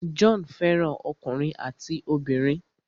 John fẹ́ràn ọkùnrin àti obìnrin.